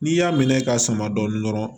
N'i y'a minɛ ka sama dɔn dɔrɔn